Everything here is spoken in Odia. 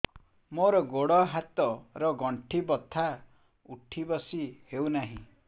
ମୋର ଗୋଡ଼ ହାତ ର ଗଣ୍ଠି ବଥା ଉଠି ବସି ହେଉନାହିଁ